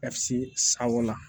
Ka se sawa la